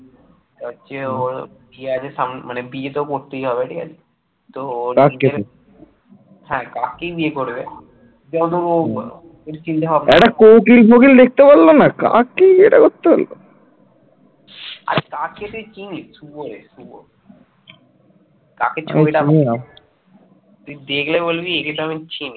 তুই দেখলে বলবি একে তো আমি চিনি